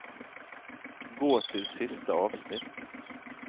Gå til siste avsnitt